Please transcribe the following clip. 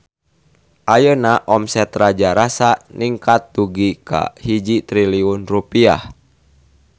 Ayeuna omset Raja Rasa ningkat dugi ka 1 triliun rupiah